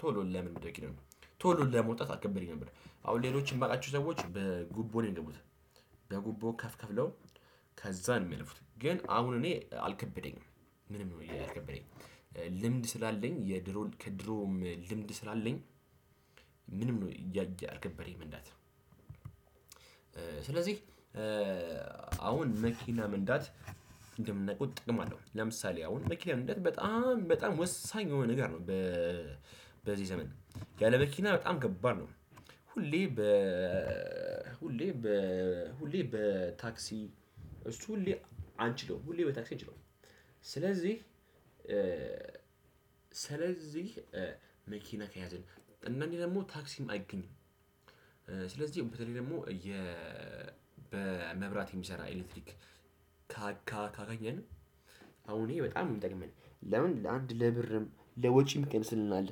ቶሎ ለምን ብደቂር ነው ቶሎ ለመውጣት አልከበደኝም ነበር። አሁን ሌሎች የማውቃቸው ሰዎች በጉቦ ነው የምንለው። በጉቦ ከፍ ከፍለው ከዛ ነው የሚያልፉት። ግን አሁን እኔ አልከበደኝም ምንም ነው ያልከበደኝ። ልምድ ስላለኝ የድሮ ከድሮም ልምድ ስላለኝ ምንም ነው ያልከበደኝ መንዳት። ስለዚህ አሁን መኪና መንዳት እንደምታቁት ጥቅም አለው ለምሳሌ አሁን መኪና እንደት በጣም በጣም ወሳኝ የሆነ ነገር ነው። በዚህ ዘመን ያለ መኪና በጣም ከባድ ነው። ሁሌ በ ሁሌ በ ሁሌ በ ታክሲ እሱ ሁሌ አንችለውም ሁሌ በታክሲ እንችለው ስለዚህ ስለዚህ መኪና ከያዘን እናንተ ደግሞ ታክሲም አይገኝም። ስለዚህ በተለይ ደግሞ የ በመብራት የሚሰራ ኤሌክትሪክ ካገኘን አሁን እኔ በጣም ነው የምጠቅመኝ ለምን ለአንድ ለብርም ለወጪም ይቀንስልናል።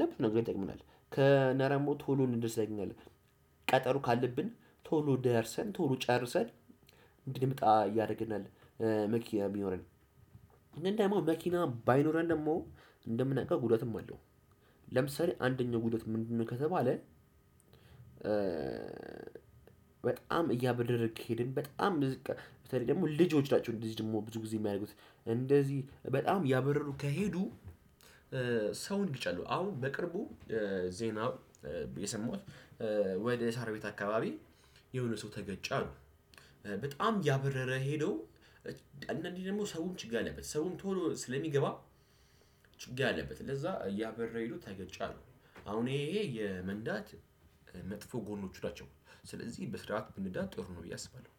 ለብዙ ነገር ይጠቅመናል እና ደግሞ ቶሎን እንደሰገኝ ቀጠሮ ካለብን ቶሎ ደርሰን ቶሎ ጨርሰን እንድንመጣ ያደርገናል። መኪና የሚኖረን እንደውም መኪና ባይኖረን ደግሞ እንደምናውቀው ጉዳትም አለው። ለምሳሌ አንደኛው ጉዳት ምንድነው? ከተባለ በጣም እያበረርን ከሄድን በጣም ብዙ በተለይ ደግሞ ልጆች ናቸው እንደዚህ ደግሞ ብዙ ጊዜ የሚያደርጉት እንደዚህ በጣም ያበረሩ ከሄዱ። ሰውን ይገጫሉ አሁን በቅርቡ ዜናው የሰማሁት ወደ ሳር ቤት አካባቢ የሆነ ሰው ተገጨ። በጣም ያበረረ ሄዶ አንዳኔ ደግሞ ሰውም ችግር አለበት። ሰውም ቶሎ ስለሚገባ ችግር አለበት ለዛ እያበረረ ሄዶ ተገጨ አሉ። አሁን ይሄ የመንዳት መጥፎ ጎኖቹ ናቸው። በስርዓት ብንነዳ ጥሩ ነው ብዬ አስባለሁ።